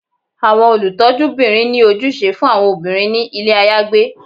Awọn olutọjúbirin ni ojúsẹ fun awọn obirin ni ilé ayagbé